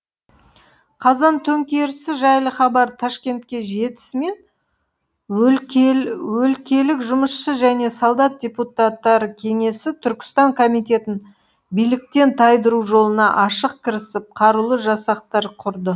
қазан төңкерісі жайлы хабар ташкентке жетісімен өлкелік жұмысшы және солдат депутаттары кеңесі түркістан комитетін биліктен тайдыру жолына ашық кірісіп қарулы жасақтар құрды